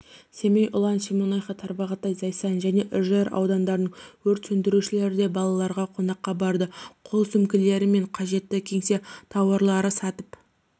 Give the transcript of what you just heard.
семей ұлан шемонаиха тарбағатай зайсан және үржар ауданының өрт сөндірушілері де балаларға қонаққа барды қол сөмкелері мен қажетті кеңсе тауарлары сатып